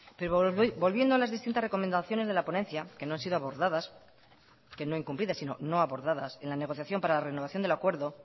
pero volviendo a las distintas recomendaciones de la ponencia que no han sido abordadas que no incumplidas sino no abordadas en la negociación para la renovación del acuerdo